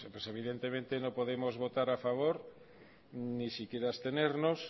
evidentemente no podemos votar a favor ni siquiera abstenernos